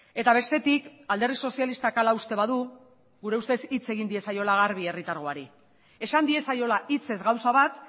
eta bestetik alderdi sozialistak hala uste badu gure ustez hitz egin diezaiola garbi herritargori esan diezaiola hitzez gauza bat